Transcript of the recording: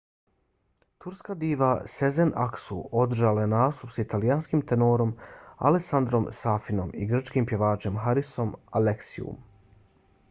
turska diva sezen aksu održala je nastup s italijanskim tenorom alessandrom safinom i grčkim pjevačem harisom alexiouom